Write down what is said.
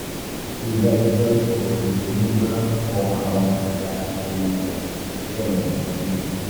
ríi dájú pé o fi omi gbígbóná fọ àwọn ẹ̀yà ìbímọ rẹ lẹ́ẹ̀mejì lójúmọ́